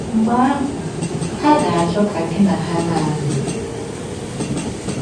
Mgbe ahụ, ha ga - achọ ka gị na ha na - anọ.